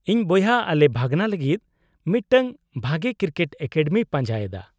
-ᱤᱧ ᱵᱚᱭᱦᱟ ᱟᱞᱮ ᱵᱷᱟᱹᱜᱱᱟᱹ ᱞᱟᱹᱜᱤᱫ ᱢᱤᱫᱴᱟᱝ ᱵᱷᱟᱜᱮ ᱠᱨᱤᱠᱮᱴ ᱮᱠᱟᱰᱮᱢᱤᱭ ᱯᱟᱸᱡᱟᱭᱮᱫᱟ ᱾